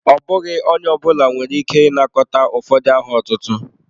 Ọ bụghị onye ọ bụla nwere ike ịnakọta ụfọdụ aha ọtụtụ.